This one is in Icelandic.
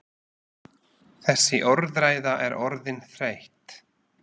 Þessi orðræða er orðin þreytt!